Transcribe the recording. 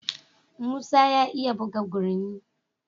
Musa ya iya buga gurmi.